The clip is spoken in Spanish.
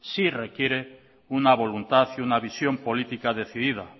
sí requiere una voluntad y una visión política decidida